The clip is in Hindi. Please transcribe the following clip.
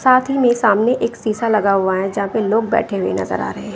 साथ ही में सामने एक शीशा लगा हुआ है जहां पे लोग बैठे हुए नजर आ रहे हैं।